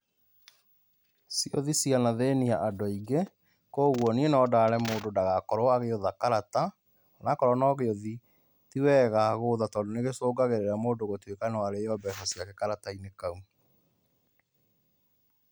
ciũthĩ ciana thiĩnĩa andũ aĩngĩ, kwoguo niĩ nondare mũndũ ndagakorwo agĩũtha karata onakorwo no gĩũthiĩ tĩwega gũthaa tondũ nĩgĩcungagĩrĩra mũndũ gũkorwo no arĩo mbeca ciake karata-inĩ kau.